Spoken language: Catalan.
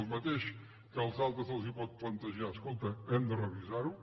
el mateix que als altres els pot plantejar escolta hem de revisar ho